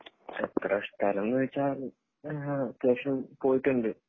എത്ര സ്ഥലംന്ന് ചോയ്ച്ചാൽ ആഹ് അത്യാവശ്യം പോയിട്ടുണ്ട്